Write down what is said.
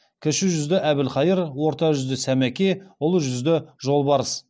кіші жүзді әбілхайыр орта жүзде сәмеке ұлы жүзде жолбарыс